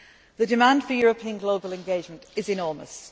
I started. The demand for European global engagement is